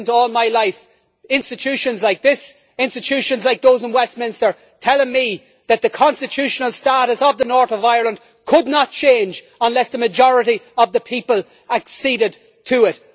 I have listened all my life to institutions like these, institutions like those in Westminster, telling me that the constitutional status of the North of Ireland could not change unless the majority of the people acceded to it.